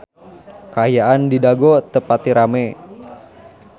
Kaayaan di Dago teu pati rame